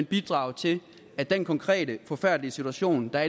bidrage til at den konkrete forfærdelige situation der